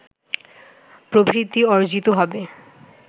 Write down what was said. প্রবৃদ্ধি অর্জিত হবে